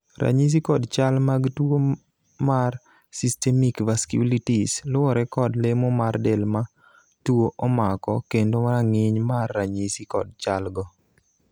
ranyisi kod chal mag tuo mar systemic vasculitis luwore kod lemo mar del ma tuo omako kendo rang'iny mar ranyisi kod chal go